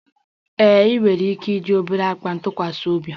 Ee, ị nwere ike iji obere akpa ntụkwasị obi